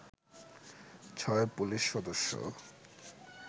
ছয় পুলিশ সদস্য